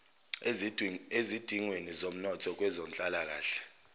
ezidingweni zomnotho kwezenhlalakahle